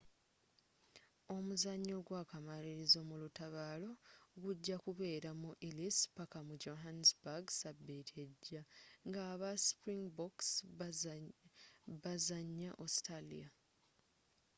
omuzanyo ogwakamalirizo mu lutabaalo gujja kubeera ku ellis paaka mu johannesburg sabiiti ejja nga aba springboks bazanya austalia